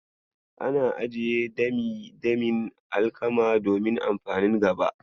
Ana ajiye dami-damin alkama domin amfanin gaba.